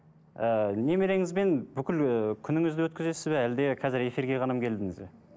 ы немереңізбен бүкіл ы күніңізді өткізесіз бе әлде қазір эфирге келдіңіз бе